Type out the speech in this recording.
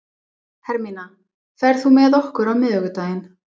Hermína, ferð þú með okkur á miðvikudaginn?